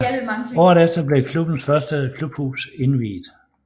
Året efter blev klubbens første klubhus indviet